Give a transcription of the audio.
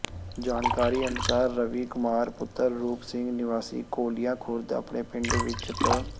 ਜਾਣਕਾਰੀ ਅਨੁਸਾਰ ਰਵੀ ਕੁਮਾਰ ਪੁੱਤਰ ਰੂਪ ਸਿੰਘ ਨਿਵਾਸੀ ਘੋਲੀਆ ਖੁਰਦ ਆਪਣੇ ਪਿੰਡ ਵਿੱਚ ਪ